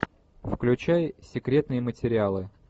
включай секретные материалы